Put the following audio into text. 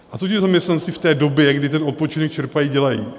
A co ti zaměstnanci v té době, kdy ten odpočinek čerpají, dělají?